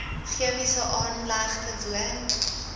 chemiese aanlegte woon